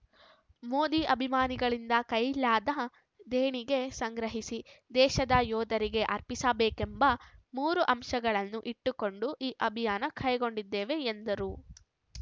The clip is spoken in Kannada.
ಮೋದಿ ಅಭಿಮಾನಿಗಳಿಂದ ಕೈಲಾದ ದೇಣಿಗೆ ಸಂಗ್ರಹಿಸಿ ದೇಶದ ಯೋಧರಿಗೆ ಅರ್ಪಿಸಬೇಕೆಂಬ ಮೂರು ಅಂಶಗಳನ್ನು ಇಟ್ಟುಕೊಂಡು ಈ ಅಭಿಯಾನ ಕೈಗೊಂಡಿದ್ದೇವೆ ಎಂದರು